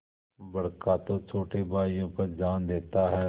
बड़का तो छोटे भाइयों पर जान देता हैं